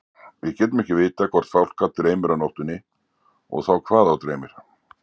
Við getum ekki vitað hvort fálka dreymir á nóttunni og þá hvað þá dreymir.